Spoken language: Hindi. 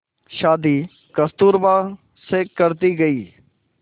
शादी कस्तूरबा से कर दी गई